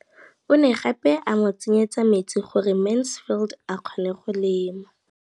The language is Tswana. O ne gape a mo tsenyetsa metsi gore Mansfield a kgone go lema.